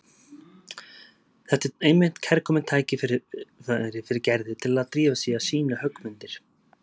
Þetta er einmitt kærkomið tækifæri fyrir Gerði til að drífa sig í að sýna höggmyndir.